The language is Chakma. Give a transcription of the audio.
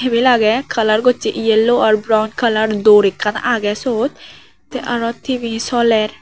tebil aage colour goshe yellow or brown colour door ekkan aage sot teh aro T_V soler.